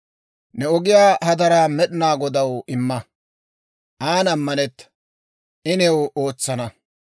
Ne ogiyaa hadaraa Med'inaa Godaw imma. An ammanetta; I new ootsana.